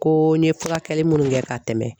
Ko n ye furakɛli minnu kɛ ka tɛmɛ